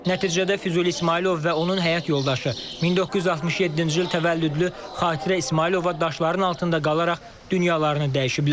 Nəticədə Füzuli İsmayılov və onun həyat yoldaşı 1967-ci il təvəllüdlü Xatirə İsmayılova daşların altında qalaraq dünyalarını dəyişiblər.